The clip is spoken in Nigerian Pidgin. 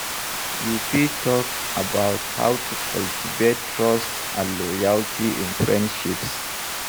You fit talk about how to cultivate trust and loyalty in friendships.